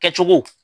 Kɛcogo